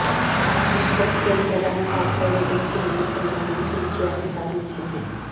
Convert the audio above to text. విశ్వక్ సేన్ ప్రధాన పాత్రలో నటించిన ఈ సినిమా మంచి విజయాన్ని సాధించింది